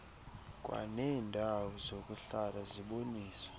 kwaneendawo zokuhlala ziboniswe